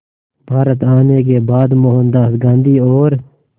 भारत आने के बाद मोहनदास गांधी और